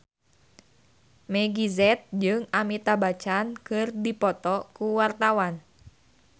Meggie Z jeung Amitabh Bachchan keur dipoto ku wartawan